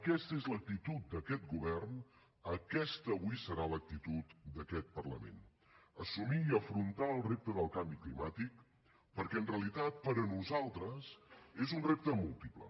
aquesta és l’actitud d’aquest govern aquesta avui serà l’actitud d’aquest parlament assumir i afrontar el repte del canvi climàtic perquè en realitat per a nosaltres és un repte múltiple